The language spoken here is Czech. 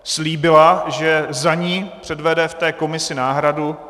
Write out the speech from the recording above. Slíbila, že za ni předvede v té komisi náhradu.